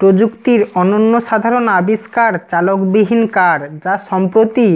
প্রযুক্তির অনন্য সাধারণ আবিস্কার চালকবিহীন কার যা সম্প্রতি